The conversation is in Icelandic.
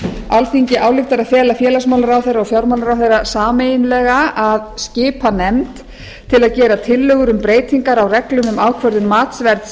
alþingi ályktar að fela félagsmálaráðherra og fjármálaráðherra sameiginlega að skipa nefnd til að gera tillögur um breytingar á reglum um ákvörðun matsverðs